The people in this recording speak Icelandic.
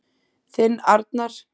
Þinn Arnar.